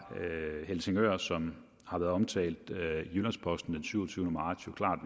helsingør som har været omtalt i jyllands posten syvogtyvende marts jo klart